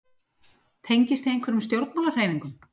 Tengist þið einhverjum stjórnmálahreyfingum?